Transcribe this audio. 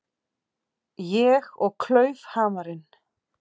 Ég og klaufhamarinn.